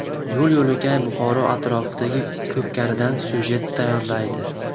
Yo‘l-yo‘lakay Buxoro atroflaridagi ko‘pkaridan syujet tayyorlaydi.